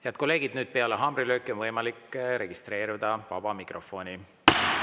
Head kolleegid, peale haamrilööki on võimalik registreeruda sõnavõtuks vabas mikrofonis.